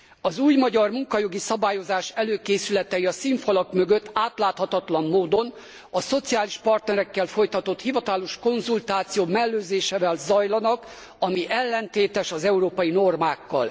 Az új magyar munkajogi szabályozás előkészületei a színfalak mögött átláthatatlan módon, a szociális partnerekkel folytatott hivatalos konzultáció mellőzésével zajlanak, ami ellentétes az európai normákkal.